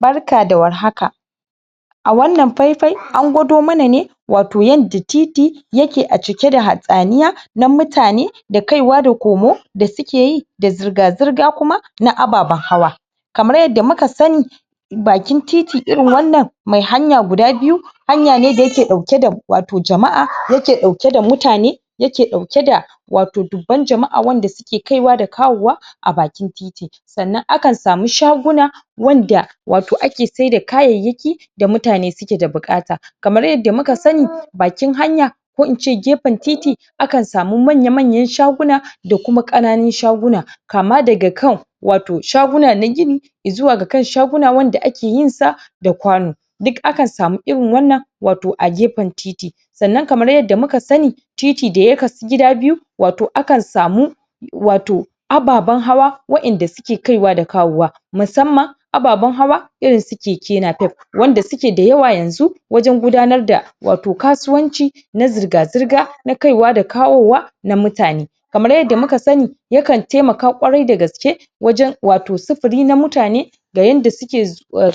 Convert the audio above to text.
Barka da warhaka a wannan faifai an gwado mana ne wato yanda titi ya ke a cike da hatsaniya na mutane da kaiwa da komo da suke yi da zurga zurga kuma na ababan hawa kamar yadda muka sani bakin titi irin wannan mai hanya guda biyu hanya ne da ya ke dauke da wato jama'a, ya ke dauke da mutane ya ke dauke da wato dubban jama'a wanda suke kaiwa da kawowa a bakin titi sannan akan samu shaguna wanda wato ake saida kayayaki da mutane su ke da bukata kamar yadda muka sani, bakin hanya ko in ce gefen titi a kan samu manya manyan shaguna da kuma kananun shaguna kama da ga kan wato shaguna na gini izuwa ga kan shaguna wanda ake yin sa da kwano duk akan samu irin wannan wato a gefen titi sannan kamar yadda mu ka sani titi da ya kasu gida biyu wato a kan samu wato ababan hawa wa'en da suke kaiwa da kawowa masamman ababan hawa irin su keke napep wanda su ke dayawa yanzu wajen gudanar da wato kasuwanci na zurga zurga, na kaiwa da kawowa na mutane kamar yadda muka sani ya kan taimaka kwarai da gaske wajen wato supiri na mutane da yanda su ke,